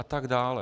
A tak dále.